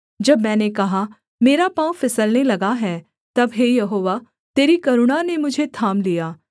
जब मैंने कहा मेरा पाँव फिसलने लगा है तब हे यहोवा तेरी करुणा ने मुझे थाम लिया